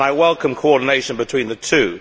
I welcome coordination between the two.